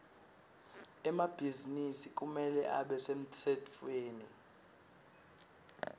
emabhizinisi kumele abe semtsetfweni